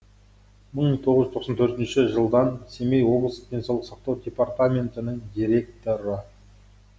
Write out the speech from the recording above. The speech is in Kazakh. мың тоғыз жүз тоқсан төртінші жылдан семей облыстық денсаулық сақтау департаментінің директоры